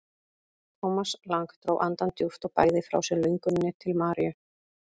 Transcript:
Thomas Lang dró andann djúpt og bægði frá sér lönguninni til Maríu.